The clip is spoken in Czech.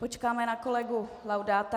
Počkáme na kolegu Laudáta.